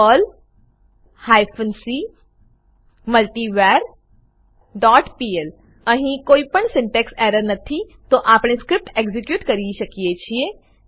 Perl hyphen C multivar dot PL અહી કોઈ પણ સિન્ટેક્ષ એરર નથી તો આપણે સ્ક્રીપ્ટ એક્ઝીક્યુટ કરી શકીએ છીએ